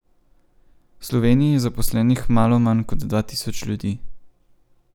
V Sloveniji je zaposlenih malo manj kot dva tisoč ljudi.